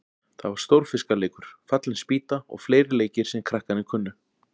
Það var Stórfiska- leikur, Fallin spýta og fleiri leikir sem krakkarnir kunnu.